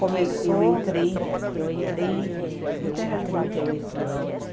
Começou, eu entrei, eu entrei, é, eu tinha trinta e oito anos.